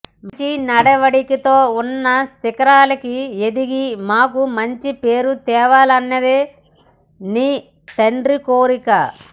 మంచి నడవడికతో ఉన్నత శిఖరాలకి ఎదిగి మాకు మంచి పేరు తేవాలన్నది నీ తండ్రి కోరిక